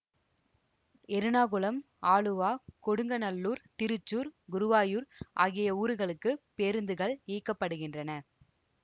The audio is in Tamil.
எறணாகுளம் ஆலுவா கொடுங்ஙல்லூர் திருச்சூர் குருவாயூர் ஆகிய ஊருகளுக்கு பேருந்துகள் இயக்க படுகின்றன